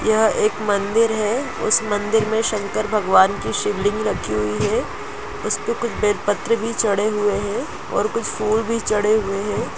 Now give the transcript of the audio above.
यह एक मंदिर है उस मंदिर में शंकर भगवन की शिवलिंग रखी हुई है उसपे कुछ बैल पत्ते भी छाडे हुए हैऔर कुछ फूल भी छाडे हुए है।